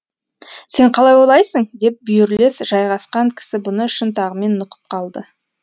сен қалай ойлайсың деп бүйірлес жайғасқан кісі бұны шынтағымен нұқып қалды